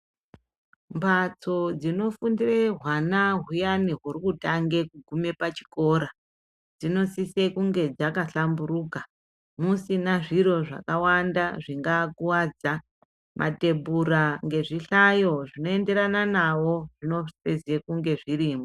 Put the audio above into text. Mbatso dzinofundire hwana huyani huri kutange kugume pachikora, dzinosise kunge dzakahlamburuka musina zviro zvakawanda zvingakuwadza mathebhura nezvihlayo zvinoenderana nawo zvinofise kunge zvirimwo.